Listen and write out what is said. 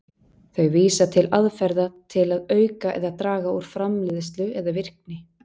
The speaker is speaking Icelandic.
Þau vísa til aðferða til að auka eða draga úr framleiðslu eða virkni.